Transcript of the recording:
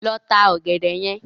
Lọ ta ọ̀gẹ̀dẹ̀ yẹn.